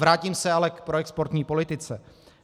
Vrátím se ale k proexportní politice.